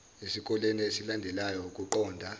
esikoleni esilandelayo ukuqonda